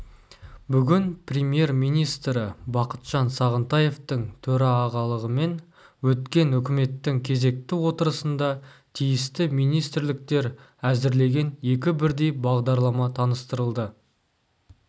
бүгін премьер-министрі бақытжан іағынтаевтың төрағалығымен өткен үкіметтің кезекті отырысында тиісті министрліктер әзірлеген екі бірдей бағдарлама таныстырылды